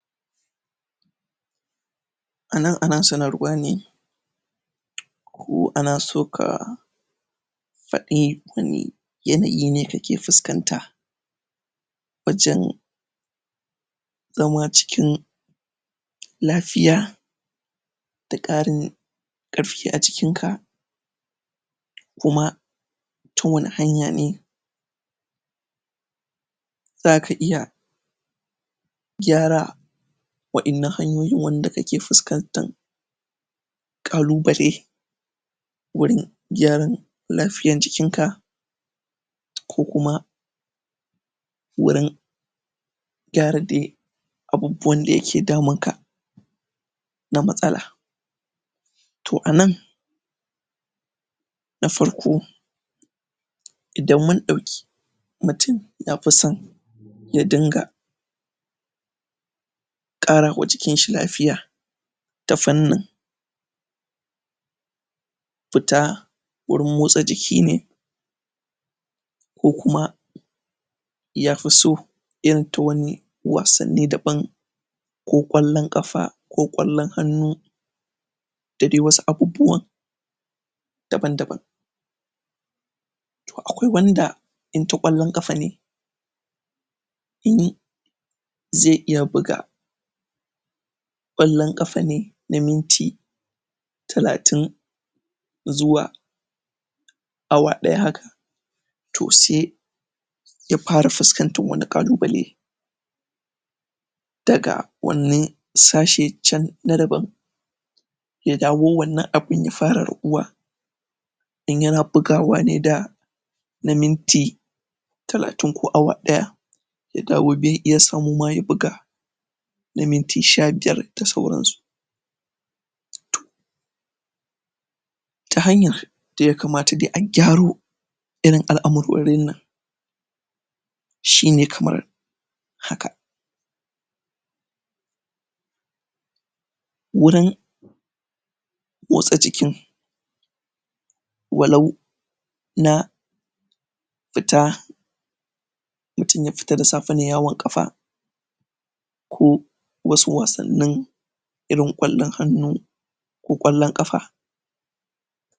A nan ana sanarwa ne ko ana so ka faɗi wani yanayi ne ake fuskanta wajen zama cikin lafiya da ƙarin ƙarfi a jikin ka kuma ta wani hanya ne za ka iya gyara wa'innan hanyoin wanda kake fuskantan ƙalubale wurin gyaran lafiyan jikin ka ko kuma wurin gyara de abubbuwan da yake damun ka na matsala to a nan na farko idan mun ɗauki mutun ya pi son ya dinga ƙara wa jiki shi lafiya na fannin fita wurin motsa jiki ne ko kuma ya fi so yin wasanni daban ko ƙwallon ƙafa ko ƙwallon hannu da dai wasu abubbuwan daban daban to akwai wanda in ta ƙwallon ƙafa ne ze iya buga ƙwallon ƙafa ne na minti talatin zuwa awa ɗaya haka to se ya para fustantan wani ƙalubale daga wani sashe can na daban ya dawo wannan abun ya fara raguwa in yana bugawa ne da na minti talatin ko awa ɗaya ya dawo be iya samu ma ya buga na minti sha biyar da sauransu ta hanyan da ya kamata de a gyaro irin al'amurorin nan shine kamar haka wurin motsa jikin walau na fita mutm ya fita da safe ne yawon ƙafa ko wasu wasannin irin ƙwallon hannu ko ƙwallon kafa.